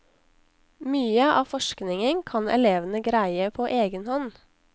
Mye av forskningen kan elevene greie på egen hånd.